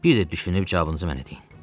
Bir də düşünüb cavabınızı mənə deyin.